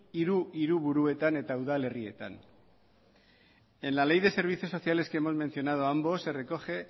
hiru hiriburuetan eta udalerrietan en la ley de servicios sociales que hemos mencionado ambos se recoge